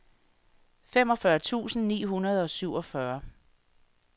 femogfyrre tusind ni hundrede og syvogfyrre